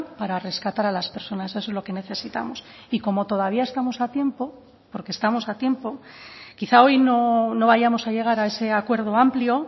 para rescatar a las personas eso es lo que necesitamos y como todavía estamos a tiempo porque estamos a tiempo quizá hoy no vayamos a llegar a ese acuerdo amplio